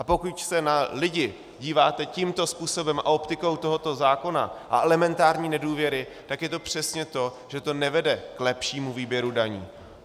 A pokud se na lidi díváte tímto způsobem a optikou tohoto zákona a elementární nedůvěry, tak je to přesně to, že to nevede k lepšímu výběru daní.